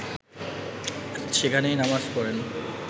সেখানেই নামাজ পড়েন